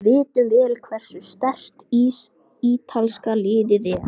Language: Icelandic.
Við vitum vel hversu sterkt ítalska liðið er.